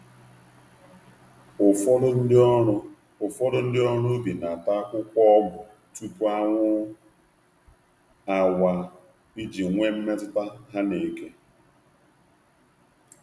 Ụfọdụ ndị ọrụ Ụfọdụ ndị ọrụ ubi na-ata akwụkwọ ọgwụ tupu anwụ awaa, iji nwee mmetụta ha na eke